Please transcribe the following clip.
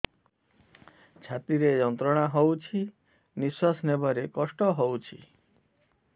ଛାତି ରେ ଯନ୍ତ୍ରଣା ହଉଛି ନିଶ୍ୱାସ ନେବାରେ କଷ୍ଟ ହଉଛି